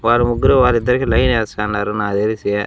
వారు ముగ్గురు వాళ్ళిద్దరికీ లైన్ ఏస్తాండారు నాకు తెలిసి.